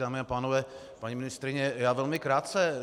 Dámy a pánové, paní ministryně, já velmi krátce.